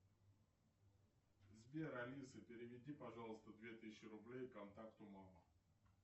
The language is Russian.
сбер алиса переведи пожалуйста две тысячи рублей контакту мама